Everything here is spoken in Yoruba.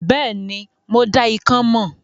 Bẹ́ẹ̀ni, mo dá ikán mọ̀.